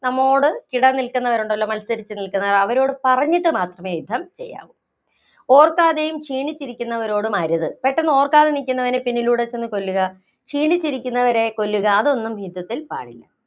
നമ്മോട് കിടനില്‍ക്കുന്നവരുണ്ടല്ലോ, മത്സരിച്ചുനില്‍ക്കുന്നവര്‍, അവരോടു പറഞ്ഞിട്ട് മാത്രമേ യുദ്ധം ചെയ്യാവൂ. ഓര്‍ക്കാതെയും, ക്ഷീണിച്ചിരിക്കുന്നവരോടും അരുത്. പെട്ടെന്ന് ഓര്‍ക്കാതെ നില്‍ക്കുന്നവനെ പിന്നിലൂടെ ചെന്ന് കൊല്ലുക, ക്ഷീണിച്ചിരിക്കുവരെ കൊല്ലുക അതൊന്നും യുദ്ധത്തില്‍ പാടില്ല.